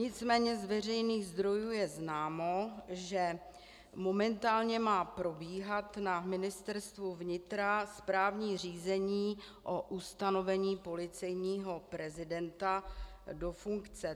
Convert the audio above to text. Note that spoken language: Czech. Nicméně z veřejných zdrojů je známo, že momentálně má probíhat na Ministerstvu vnitra správní řízení o ustanovení policejního prezidenta do funkce.